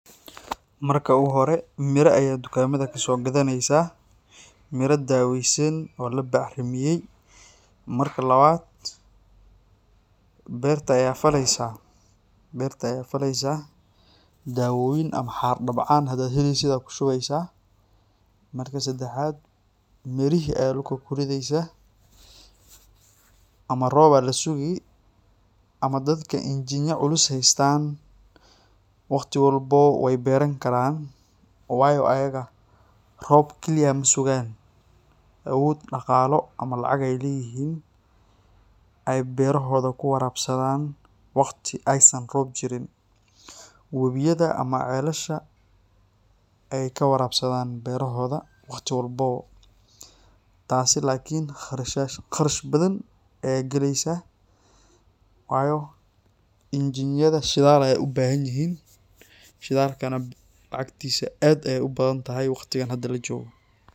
Marka uguhore mira ayaa dukamada kasogadaneysaah, mira daweysan oo labacrimiye, marka lawad berta ayaa faleysah, dawoyin ama xar dabcaan hadaa heleysid aa kushubeysah marka sedaxad mirihi ayaa dulka kurideysaah, ama rob aa lasugi ama dadka injinya culus haystan waqti walbawo way beran karan waayo ayaga rob kaliya masugan awod daqalo ama lacag ay leyihin oo berahoda ay kuwarabsadan waqti aysan rob jirin, wabiyada ama celasha ay kawarabsadan berahoda waqti walbawo, taasi lakin qarash bathan ayaa geleysaah waayo injinyada shidal ay ubahanyihin, shidalkana lacagtisa ad ay ubathantahay waqtigan hada lajogo.